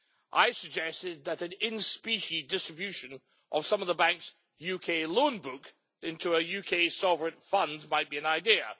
I suggested that an in specie distribution of some of the bank's UK loan book into a UK sovereign fund might be an idea.